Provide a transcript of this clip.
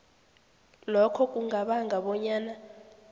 lokho kungabanga bonyana